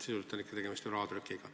Sisuliselt on ikkagi tegemist rahatrükiga.